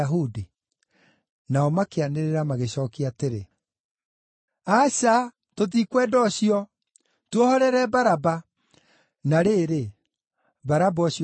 Nao makĩanĩrĩra, magĩcookia atĩrĩ, “Aca, tũtikwenda ũcio! Tuohorere Baraba!” Na rĩrĩ, Baraba ũcio aarĩ mũtunyani.